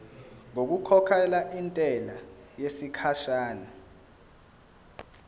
ngokukhokhela intela yesikhashana